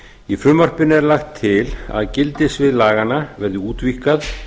í frumvarpinu er lagt til að gildissvið laganna verði útvíkkað